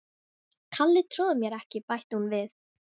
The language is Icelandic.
Kalli trúir mér ekki bætti hún við.